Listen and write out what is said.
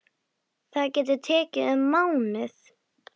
Það getur tekið um mánuð.